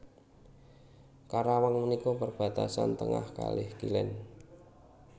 Karawang menika perbatasan tengah kalih kilen